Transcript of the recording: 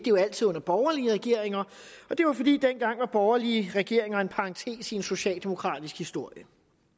jo altid under borgerlige regeringer og det var fordi borgerlige regeringer en parentes i en socialdemokratisk historie